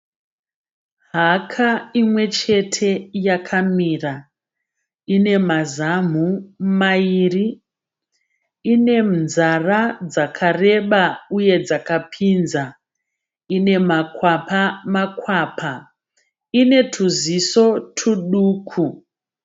Haka imwechete yakamira. Inemazamhu maviri. Inenzara dzakareba uye dzakapidza. Inemakwapa makwapa. Ine tuziso tuduku.